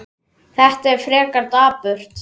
Þetta er frekar dapurt.